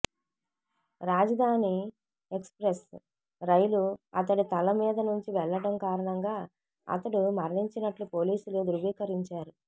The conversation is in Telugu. రాజధాని ఎక్స్ప్రెస్ రైలు అతడి తల మీదనుంచి వెళ్లటం కారణంగా అతడు మరణించినట్లు పోలీసులు ధ్రువీకరించారు